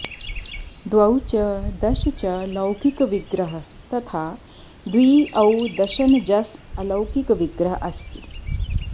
द्वौ च दश च लौकिक विग्रह तथा द्वि औ दशन् जस् अलौकिक विग्रह है